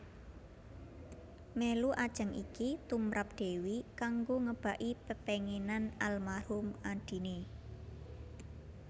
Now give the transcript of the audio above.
Mèlu ajang iki tumrap Dewi kanggo ngebaki pepénginan almarhum adiné